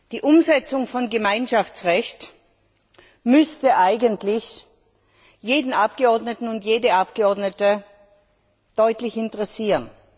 Die Umsetzung von Gemeinschaftsrecht müsste eigentlich jeden Abgeordneten und jede Abgeordnete deutlich interessieren.